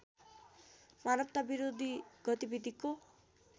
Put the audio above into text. मानवता विरोधी गतिविधिको